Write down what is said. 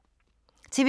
TV 2